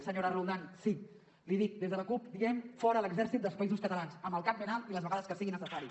senyora roldán sí li ho dic des de la cup diem fora l’exèrcit dels països catalans amb el cap ben alt i les vegades que sigui necessari